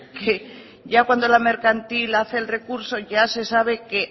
que ya cuando la mercantil hace el recurso ya se sabe que